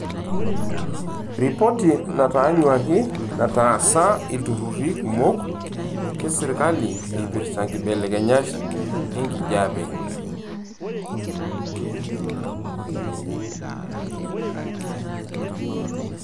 Ripoti nataanyuaki nataasa ilturruri kumok leserkali eipirta nkibelekenyat enkijiepe.